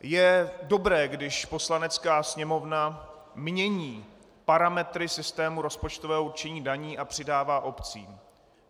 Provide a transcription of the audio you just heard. Je dobré, když Poslanecká sněmovna mění parametry systému rozpočtového určení daní a přidává obcím.